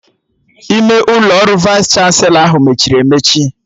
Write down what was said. Ime ụlọ ọrụ Vaịs chanselọ ahụ mechiri emechi